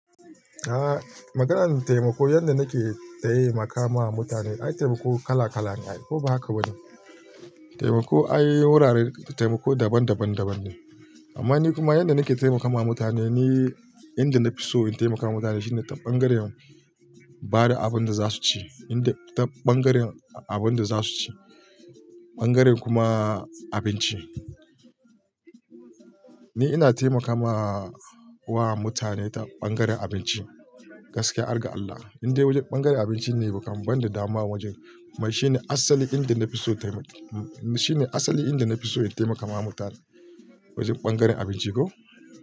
Aaa, maganar taimako yanda nake ta yi maka ma mutane, ai taimako kala-kala ne. Ko ba haka ba ne? Taimako akwai wuraren taimako daban daban daban ne. Amma ni kuma yanda nake taimakawa mutane, ni yanda na fi so in taimaka mutane shine ta bangaren bada abin da za su ci. Ta bangaren abin da za su ci. Bangaren kuma abinci. Ni ina taimakawa wa mutane ta bangaren abinci. Gaskiya, argar Allah. Yanda wajen bangaren abinci ne baka ban da dama wajen. Mai shine asali inda na fi so taimak-- shine asali inda na fi so in taimakawa mutane. Wajen bangaren abinci ko.